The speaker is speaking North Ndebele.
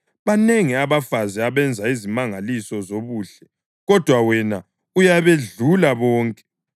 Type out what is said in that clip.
“Banengi abafazi abenza izimangaliso zobuhle, kodwa wena uyabedlula bonke.”